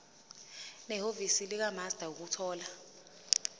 nehhovisi likamaster ukuthola